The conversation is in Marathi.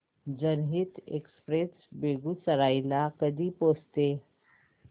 जनहित एक्सप्रेस बेगूसराई ला कधी पोहचते